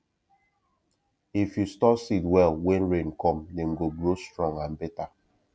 if you store seed well when rain come dem go grow strong and better